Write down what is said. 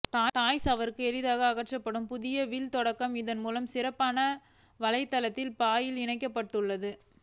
toys அவர்கள் எளிதாக அகற்றப்பட்டு புதிய வில் தொங்க இதன் மூலம் சிறப்பான வளையத்தின் பாயில் இணைக்கப்பட்டுள்ளது